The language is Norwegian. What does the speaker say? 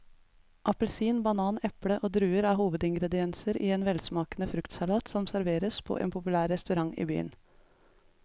Appelsin, banan, eple og druer er hovedingredienser i en velsmakende fruktsalat som serveres på en populær restaurant i byen.